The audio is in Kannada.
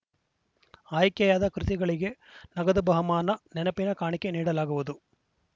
ಆಯ್ಕೆಯಾದ ಕೃತಿಗಳಿಗೆ ನಗದು ಬಹುಮಾನ ನೆನಪಿನ ಕಾಣಿಕೆ ನೀಡಲಾಗುವುದು